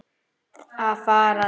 Að farast?